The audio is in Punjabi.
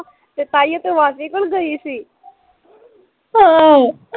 ਤੇ ਤਾਂਹੀਂਓ ਤੂੰ ਮਾਸੀ ਕੋਲ ਗਈ ਸੀ